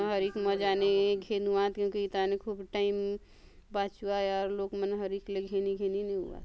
हरिक मजा ने घेनुआत क्योकि इ थाने खूब टाइम बाछुआय आउर लोग मन हरिक ने घेनी - घेनी नेउआत।